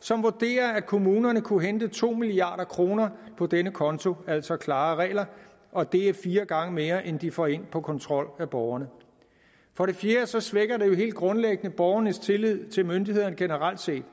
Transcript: som vurderer at kommunerne kunne hente to milliard kroner på denne konto altså klarere regler og det er fire gange mere end de får ind på kontrol af borgerne for det fjerde svækker det jo helt grundlæggende borgernes tillid til myndighederne generelt set